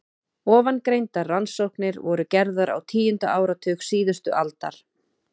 Ofangreindar rannsóknir voru gerðar á tíunda áratug síðustu aldar.